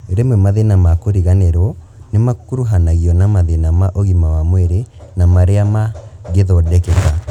Rwĩme mathĩna ma kũriganirwo nĩmakuruhanagio na mathĩna ma ũgima wa mwĩrĩ na marĩa mangĩthondekeka